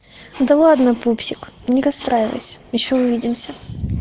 да ладно пупсик ни расстраивайся ещё увидимся